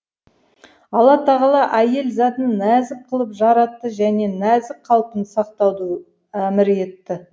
алла тағала әйел затын нәзік қылып жаратты және нәзік қалпын сақтауды әмір етті